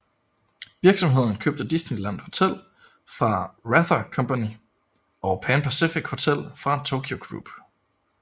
Virksomheden købte Disneyland Hotel fra Wrather Company og Pan Pacific Hotel fra Tokyu Group